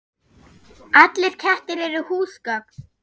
Allir kettir eru húsgögn